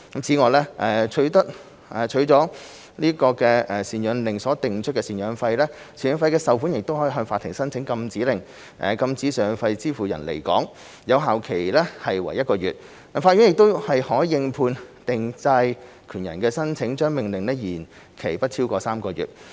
此外，為了取得贍養令所訂出的贍養費，贍養費受款人可向法庭申請禁止令，禁止贍養費支付人離港，有效期為1個月，但法院可應判定債權人的申請，將命令續期不超逾3個月。